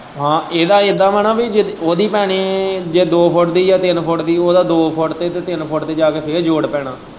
ਹਾਂ ਇੱਦਾ ਵਾ ਨਾ ਵੀ ਉਹਦੀ ਭਾਵੇਂ ਜੇ ਦੋ ਫੁੱਟ ਦੀ ਏ ਤਿੰਨ ਫੁੱਟ ਦੀ ਉਹਦਾ ਦੋ ਫੁੱਟ ਤੇ ਤਿੰਨ ਫੁੱਟ ਤੇ ਫੇਰ ਜੋੜ ਪੈਣਾ।